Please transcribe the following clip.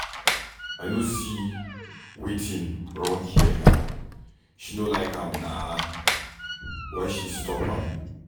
I no see wetin wrong here. She no like am na why she stop am.